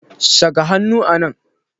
Saka hannu a nan!